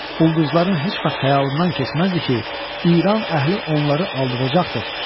Ulduzların heç vaxt xəyalından keçməzdi ki, İran əhli onları aldadacaqdır.